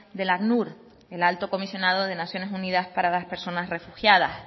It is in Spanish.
del acnur el alto comisionado de naciones unidas para las personas refugiadas